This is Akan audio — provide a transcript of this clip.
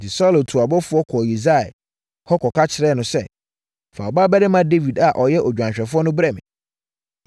Enti, Saulo tuu abɔfoɔ kɔɔ Yisai hɔ kɔka kyerɛɛ no sɛ, “Fa wo babarima Dawid a ɔyɛ odwanhwɛfoɔ no brɛ me.”